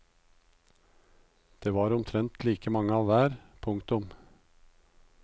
Det var omtrent like mange av hver. punktum